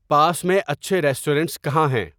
پاس میں اچھے ریسٹورنٹس کہاں ہیں